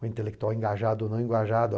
O intelectual é engajado ou não engajado.